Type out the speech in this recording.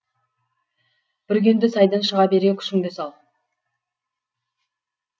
бүргенді сайдан шыға бере күшіңді сал